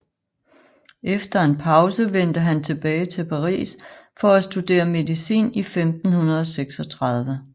Efter en pause vendte han tilbage til Paris for at studere medicin i 1536